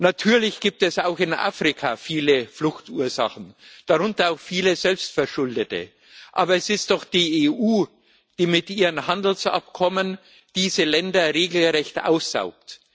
Natürlich gibt es auch in Afrika viele Fluchtursachen, darunter auch viele selbstverschuldete, aber es ist doch die EU, die mit ihren Handelsabkommen diese Länder regelrecht aussaugt.